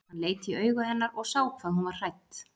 Hann leit í augu hennar og sá hvað hún var hrædd.